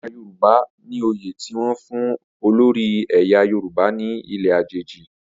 Ọba Yoruba ni oyè ti wọn fun olori ẹyà Yoruba ni ile ajeji